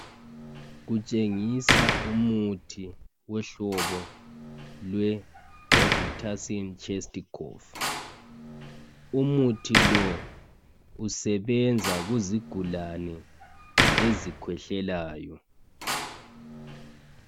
Kutshengisa umuthi wohlobo lweRobitussin chest cough umuthi lo usebenza kuzigulani ezikhwehlelayo.